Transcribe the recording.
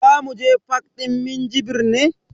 Zamu je fak din Minjibir ne.